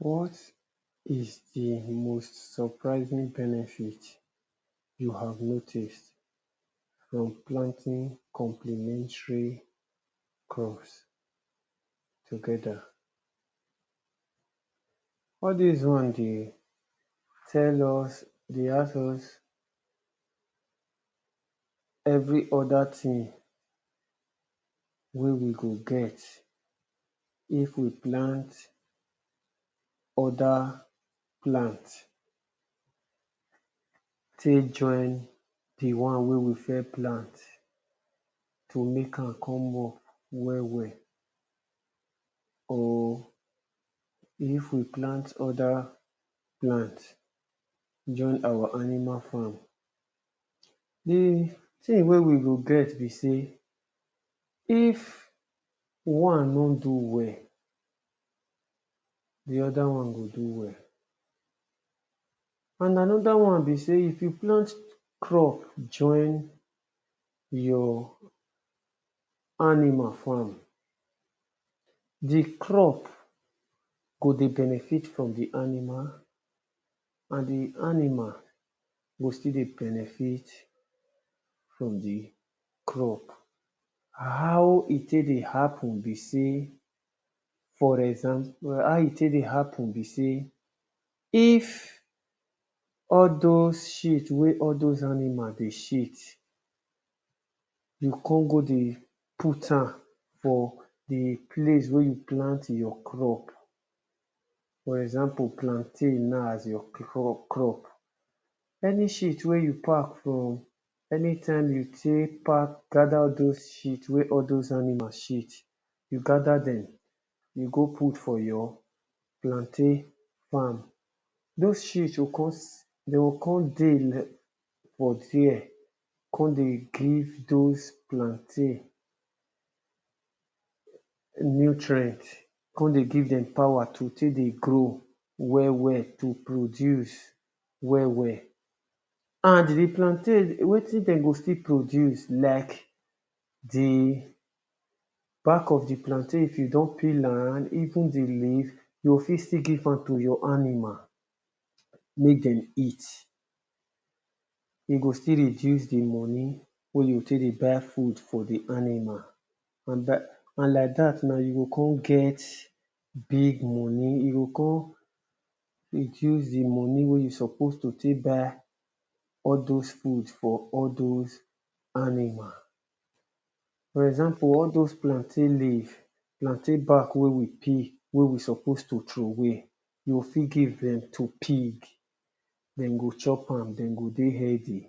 What is di most surprising benefit you have noticed from planting complementary crop together? All dis one dey tell us, dey ask us every oda thing wey we go get if we plant oda plant take join di one wey we first plant to make am come work well well, or if we plant oda plant join our animal farm. Di thing wey we go get be sey if one no do well di oda one go do well and another thing be sey if you plant crop join your animal farm, di crop go dey benefit from di animal and di animal go still dey benefit from di crop how e take dey happen be sey, for example how e take dey happen be sey, if all doz shit wen doz animal dem dey shit, you come go dey put am for di place wen you plant your crop for example na plantain as your crop, any shit wey you pack from, any time you take pack gather all doz shit wey all doz animal shit, you gather dem you go put for your plantain farm, doz shit go come, dem go come dey for there come dey give doz plantain nutrient come dey give dem power to take grow well well, to produce well well and di plant plantain wetin dem go still produce like di back of di plantain if you don peel am, even di leave you go fi t still give am to your animal make dem eat, you go still reduce di money wey you go take dey buy food for di animal and by and like dat na, you go come get big money, you go come use di money wey you supposed take buy all doz food for all doz animal. For example all doz plantain leave, plantain back wey we peel wey we supposed trowey we go fit give dem to pig, dem go chop am dem go dey healthy.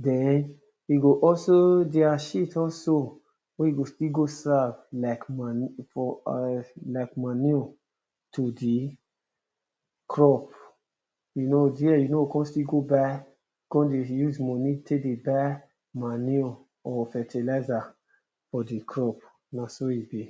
Den we go also, their shit also we go still go serve as manure, like manure too di crop you know there, you no go come still go buy come dey use money take dey buy manure or fertilizer for di crop, na so e be.